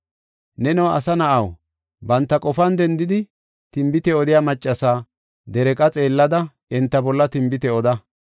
“Neno asa na7aw, banta qofan dendidi, tinbite odiya maccasa dereeqa xeellada enta bolla tinbite oda.